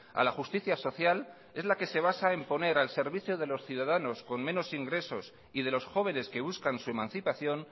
a la justicia social es la que se basa en poner al servicio de los ciudadanos con menos ingresos y de los jóvenes que buscan su emancipación